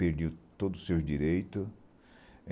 Perdeu todos os seus direitos.